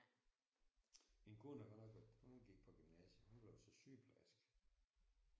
Min kone har godt nok været hun gik på gymnasiet hun blev så sygeplejerske